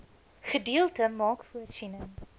gedeelte maak voorsiening